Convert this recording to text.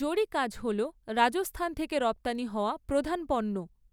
জরি কাজ হল রাজস্থান থেকে রপ্তানি হওয়া প্রধান পণ্য।